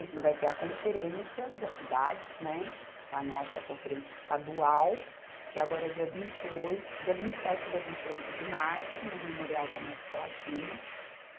vai ter a conferência das cidades, né, a nossa é a conferência estadual, que é agora dia vinte e oi, dia vinte e sete e dia vinte e oito de março, no Memorial da América Latina.